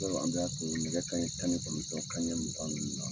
Don dɔw an b'a sɔrɔ nɛgɛ kanɲɛ tan ni kɔnɔntɔn kanɲɛ mugan ninnu na.